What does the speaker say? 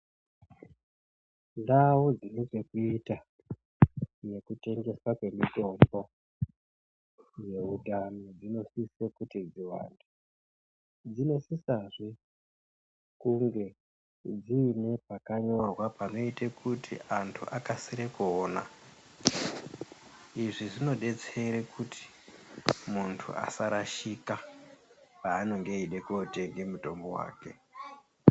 Ndau dzinechekuita nekutengeswa kwemitombo dzeutano dzinosisa kuti dziwande , dzinosisazve kunge dziine pakanyorwa panoite kuti antu akasire kuona , izvi zvinodetsere kuti muntu asarashika panonga eida kotenge mutombo wake.